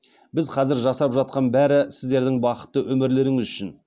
біз қазір жасап жатқан бәрі сіздердің бақытты өмірлеріңіз үшін